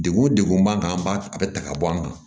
Degun degun b'an kan an b'a a bɛ ta ka bɔ an kan